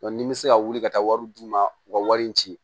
ni n bɛ se ka wuli ka taa wari d'u ma u ka wari in ci